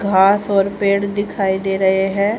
घास और पेड़ दिखाई दे रहे हैं।